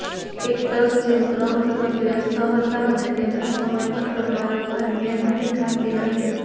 actors જેમ ક્રમ સતત વ્યસ્ત હતા અને તેમના સમયપત્રક વારંવાર મેળ નથી ખાતી નથી